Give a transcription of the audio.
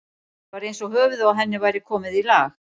Það var eins og höfuðið á henni væri komið í lag.